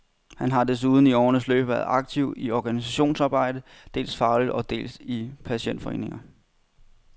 Han har desuden i årenes løb været aktiv i organisationsarbejde, dels fagligt og dels i patientforeninger.